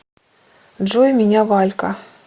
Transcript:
джой меня валька